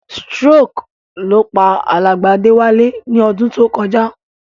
Stroke ló pa alàgbà Déwálé ni odún to kojá